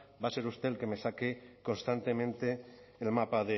va a ser usted el que me saque constantemente el mapa